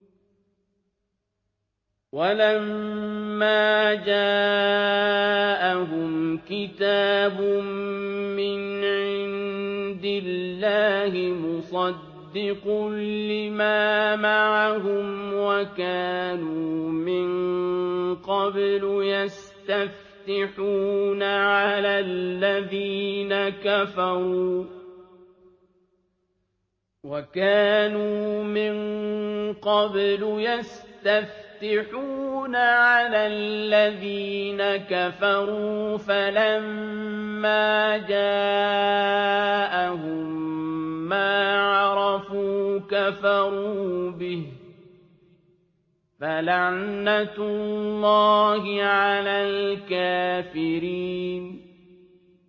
وَلَمَّا جَاءَهُمْ كِتَابٌ مِّنْ عِندِ اللَّهِ مُصَدِّقٌ لِّمَا مَعَهُمْ وَكَانُوا مِن قَبْلُ يَسْتَفْتِحُونَ عَلَى الَّذِينَ كَفَرُوا فَلَمَّا جَاءَهُم مَّا عَرَفُوا كَفَرُوا بِهِ ۚ فَلَعْنَةُ اللَّهِ عَلَى الْكَافِرِينَ